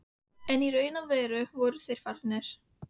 En í raun og veru voru þeir fáir.